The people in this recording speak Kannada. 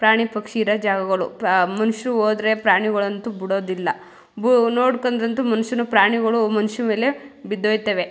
ಪ್ರಾಣಿ ಪಕ್ಷಿ ಇರೋ ಜಾಗಗಳು ಪಾ ಮನುಷ್ಯರು ಹೋದ್ರೆ ಪ್ರಾಣಿಗಳು ಅಂತೂ ಬಿಡೋದಿಲ್ಲ ಬೋ ನೋಡ್ಕಂಡ್ರಂತು ಮನುಷ್ಯರು ಪ್ರಾಣಿಗಳು ಮನುಷ್ಯರ ಮೇಲೆ ಬಿದ್ದೋಯ್ತವೆ.